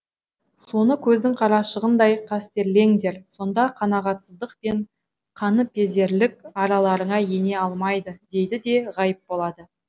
соны көздің қарашығындай қастерлеңдер сонда қанағатсыздық пен қаныпезерлік араларыңа ене алмайды дейді де ғайып болады